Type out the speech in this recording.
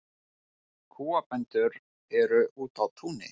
Kúabændur úti á túni